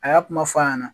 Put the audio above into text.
A y'a kuma fɔ a ɲɛna